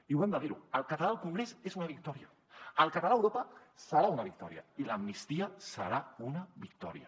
i ho hem de dir el català al congrés és una victòria el català a europa serà una victòria i l’amnistia serà una victòria